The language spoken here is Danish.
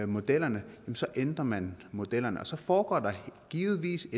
modellerne ændrer man modellerne og så foregår der givetvis